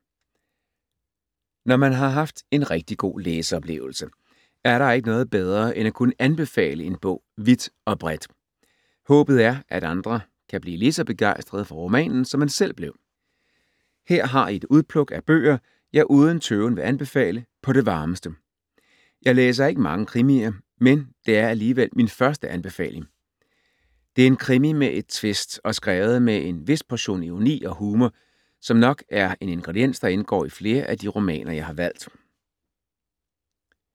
Når man har haft en rigtig god læseoplevelse, er der ikke noget bedre end at kunne anbefale en bog vidt og bredt. Håbet er at andre kan blive ligeså begejstrede for romanen som man selv blev. Her har I et udpluk af bøger, jeg uden tøven vil anbefale på det varmeste. Jeg læser ikke mange krimier, men det er alligevel min første anbefaling. Det er en krimi med et tvist og skrevet med en vis portion ironi og humor, som nok er en ingrediens, der indgår i flere af de romaner, jeg har valgt.